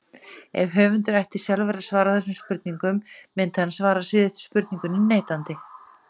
Ef höfundur ætti sjálfur að svara þessum spurningum myndi hann svara síðustu spurningunni neitandi.